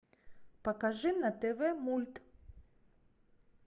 покажи на тв мульт